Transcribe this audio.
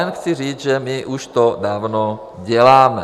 Jen chci říct, že my už to dávno děláme.